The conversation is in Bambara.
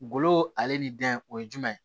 Golo ale ni dɛngɛ o ye jumɛn ye